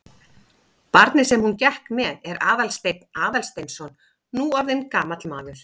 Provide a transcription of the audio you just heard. Barnið sem hún gekk með er Aðalsteinn Aðalsteinsson, nú orðinn gamall maður.